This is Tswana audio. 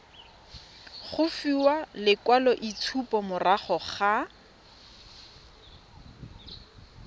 go fiwa lekwaloitshupo morago ga